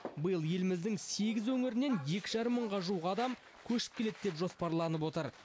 биыл еліміздің сегіз өңірінен екі жарым мыңға жуық адам көшіп келеді деп жоспарланып отыр